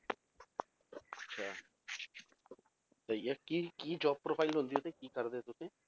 ਅੱਛਾ ਤੇ ਇਹ ਕੀ ਕੀ job profile ਹੁੰਦੀ ਹੈ ਤੇ ਕੀ ਕਰਦੇ ਹੋ ਤੁਸੀਂ?